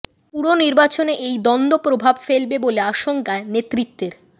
পুর নির্বাচনে এই দ্বন্দ্ব প্রভাব ফেলবে বলে আশঙ্কা নেতৃত্বের